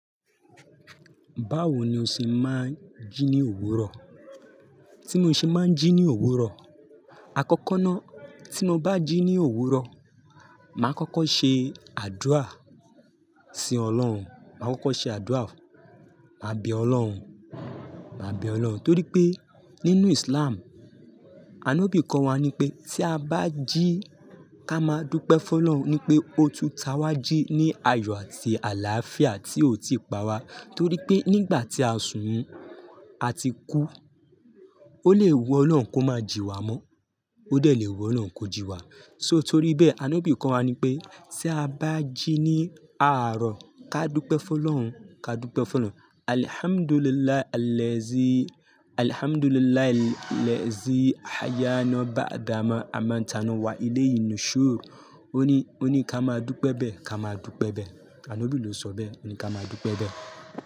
Báwo ni o ṣe máa ń jí ní òwúrọ̀? Tí mo ṣe máa ń jí ní òwúrọ̀, àkọ́kọ́ ná, tí mo bá jí ní òwúrọ̀, màá kọ́kọ́ ṣe àdúà sí Ọlọ́run, màá kọ́kọ́ ṣe àdúà, màá bẹ Ọlọ́run, màá bẹ Ọlọ́run. Torí pé nínú Islam, ànọ́bì kọ́ wa ní pé tí a bá jí, ká máa dúpẹ́ fún Ọlọ́run ní pé ó ti t'àwa jí ní ayọ̀ àti àlááfíà tí ò tí pa wa. Torí pé nígbà tí a sùn, a ti kú, ó lè wù Ọlọ́run kó máa ji wa mọ́, ó dẹ̀ le wù Ọlọ́run kó jí wa. So torí bẹ́ẹ̀ ànọ́bì kọ́ wa ní pé tí a bá jí ní àárọ̀, ká dúpẹ́ fún Ọlọ́run, ká dúpẹ́ fún Ọlọ́run. "Alhamdulillah allezi, Alhamdulillah allezi ayaana ba'ada ma a ma n taana wa ile yin n'ṣúrù". Ó ní, ó ní ká máa dúpẹ́ bẹ́ẹ̀, ká máa dúpẹ́ bẹ́ẹ̀. Ànọ́bì ló sọ bẹ́ẹ̀ pé ká máa dúpẹ́ bẹ́ẹ̀.